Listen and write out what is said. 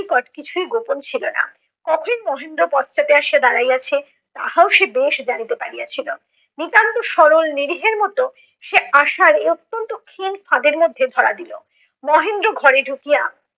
নিকট কিছুই গোপন ছিল না। কখন মহেন্দ্র পশ্চাতে আসিয়া দাঁড়াইয়াছে তাহাও সে বেশ জানিতে পারিয়াছিল। নিতান্ত সরল নিরীহের মত সে আশার এ অত্যন্ত ক্ষীণ ফাঁদের মধ্যে ধরা দিল। মহেন্দ্র ঘরে ঢুকিয়া